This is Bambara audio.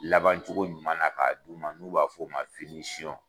Labancogo ɲuman na k'a d'u ma, n'u b'a fɔ o ma